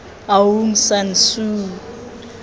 aung san suu